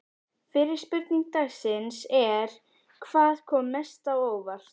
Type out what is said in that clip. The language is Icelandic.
Fyrri spurning dagsins er: Hvað kom mest á óvart?